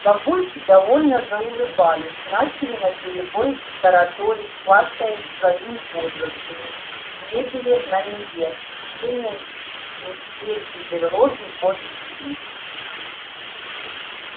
бабульки довольно заулыбались начали наперебой тараторить хвастаясь своими подвигами мебели на ниве приведения медвежьей берлоги в божеский вид